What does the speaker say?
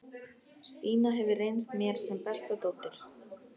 Stína hefur reynst mér sem besta dóttir.